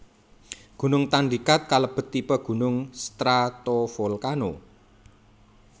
Gunung Tandikat kalebet tipe gunung stratovolcano